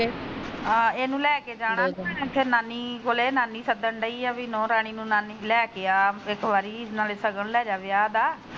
ਆ ਇਹਨੂੰ ਲੈਕੇ ਜਾਣਾ ਕਿ ਨਾਨੀ ਕੋਲੇ ਨਾਨੀ ਸੱਦਣਡੀਆ ਬੀ ਨੂੰਹ ਰਾਣੀ ਨੂੰ ਨਾਨੀ ਲੈ ਕੇ ਆ ਇੱਕ ਵਾਰੀ ਨਾਲੇ ਸ਼ਗਲ ਲੈਜੇ ਵਿਆਹ ਦਾ।